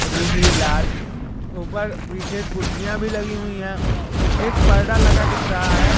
दूसरी लाल ऊपर पीछे कुर्सियां भी लगी हुई है एक पर्दा लगा दिख रहा है।